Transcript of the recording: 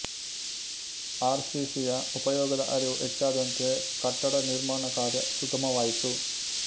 R C ಸಿಯ ಉಪಯೋಗದ ಅರಿವು ಹೆಚ್ಚಾದಂತೆ ಕಟ್ಟಡ ನಿರ್ಮಾಣಕಾರ್ಯ ಸುಗಮವಾಯಿತು